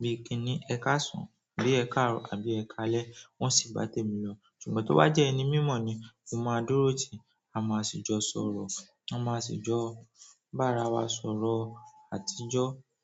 bíi kí ni "Ẹ káàsán", bíi "Ẹ kàárò" àbí "Ẹ kálẹ́", n wo sì bá tèmi lọ. Ṣùgbọ́n tí ó bá jẹ́ ẹni mímọ̀ ni, mo máa dúró tì, a máa sì jọ sọ̀rọ̀, a máa sì jọ bára wa sọ̀rọ̀ àtijọ́.